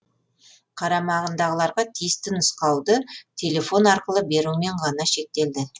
қарамағындағыларға тиісті нұсқауды телефон арқылы берумен ғана шектелді